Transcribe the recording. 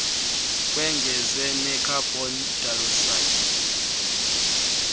kongezwe nekhabhon dayoksayidi